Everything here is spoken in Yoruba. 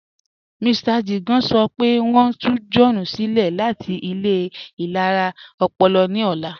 Mr Jigan sọ́ pẹ̀ wọ́n n tù John silẹ̀ láti ilẹ̀ ilẹ̀ra ọ̀pọ̀lọ̀ ní ọ̀lá